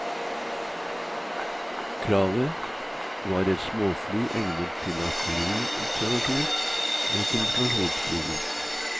Kravet var et småfly egnet til artilleri observasjon og kommunikasjonsflyging.